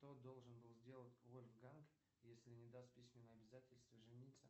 что должен был сделать вольфганг если не даст письменное обязательство жениться